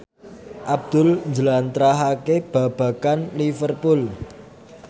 Abdul njlentrehake babagan Liverpool